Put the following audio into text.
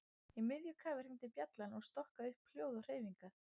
Í miðju kafi hringdi bjallan og stokkaði upp hljóð og hreyfingar.